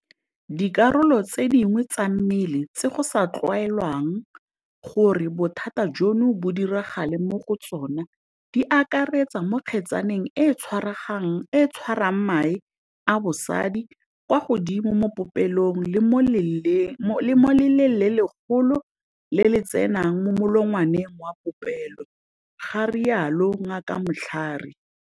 Dikarolo tse dingwe tsa mmele tse go sa tlwaelegang gore bothata jono bo diragale mo go tsone di akaretsa mo kgetsaneng e e tshwarang mae a bosadi, kwa godimo mo popelong le mo leleng le legolo le le tsenang mo molongwaneng wa popelo, ga rialo Ngaka Mhlari.